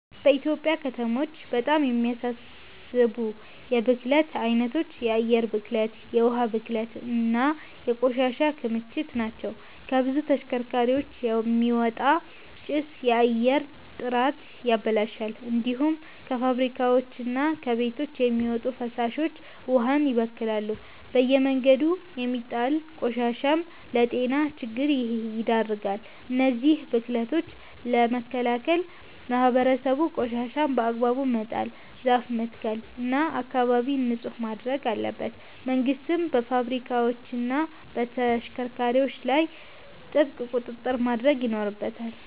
በኢትዮጵያ ከተሞች በጣም የሚያሳስቡ የብክለት አይነቶች የአየር ብክለት፣ የውሃ ብክለት እና የቆሻሻ ክምችት ናቸው። ከብዙ ተሽከርካሪዎች የሚወጣ ጭስ የአየር ጥራትን ያበላሻል። እንዲሁም ከፋብሪካዎችና ከቤቶች የሚወጡ ፍሳሾች ውሃን ይበክላሉ። በየመንገዱ የሚጣል ቆሻሻም ለጤና ችግር ይዳርጋል። እነዚህን ብክለቶች ለመከላከል ህብረተሰቡ ቆሻሻን በአግባቡ መጣል፣ ዛፍ መትከል እና አካባቢን ንጹህ ማድረግ አለበት። መንግስትም በፋብሪካዎችና በተሽከርካሪዎች ላይ ጥብቅ ቁጥጥር ማድረግ ይኖርበታል።